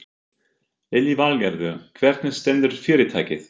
Lillý Valgerður: Hvernig stendur fyrirtækið?